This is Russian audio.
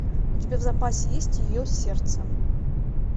у тебя в запасе есть ее сердце